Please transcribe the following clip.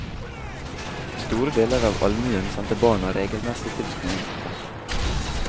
Store deler av allmuen sendte barna regelmessig til skolen. punktum